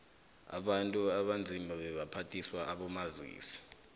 abantu abanzima bebaphathiswa abomazisi